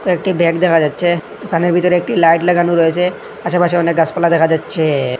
একটি ব্যাগ দেখা যাচ্ছে দোকানের ভিতর একটি লাইট লাগানো রয়েছে পাশেপাশে অনেক গাছপালা দেখা যাচ্ছেএ।